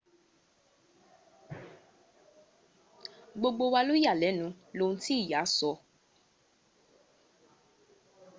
gbogbo wa ló yà lẹ́nu lohun tí ìyá sọ